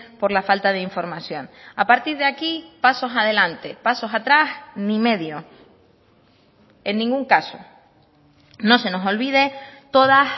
por la falta de información a partir de aquí pasos adelante pasos atrás ni medio en ningún caso no se nos olvide todas